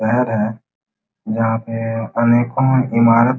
घर है जहां पे अनेको इमारत --